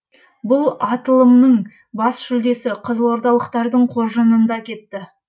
бұл аталымның да бас жүлдесі қызылордалықтардың қоржынында кетті